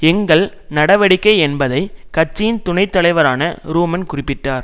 எங்கள் நடவடிக்கை என்பதை கட்சியின் துணை தலைவரான ரூமன் குறிப்பிட்டார்